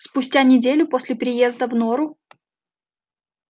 спустя неделю после приезда в нору